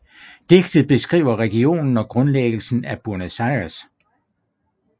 Digtet beskriver regionen og grundlæggelsen af Buenos Aires